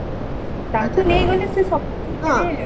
ତାଙ୍କୁ ନେଇଗଲେ ସେ